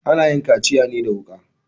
Ana yin kaciya ne da wuka.